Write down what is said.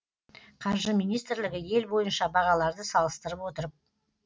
қаржы министрлігі ел бойынша бағаларды салыстырып отырып